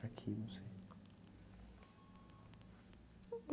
Aqui, não sei.